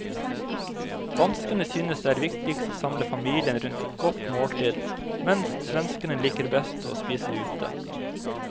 Danskene synes det er viktigst å samle familien rundt et godt måltid, mens svenskene liker best å spise ute.